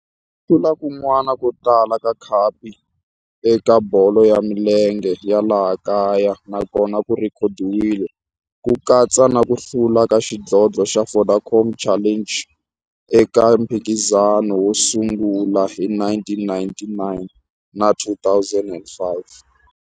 Ku hlula kun'wana ko tala ka khapu eka bolo ya milenge ya laha kaya na kona ku rhekhodiwile, ku katsa na ku hlula ka xidlodlo xa Vodacom Challenge eka mphikizano wo sungula wa 1999 na 2005.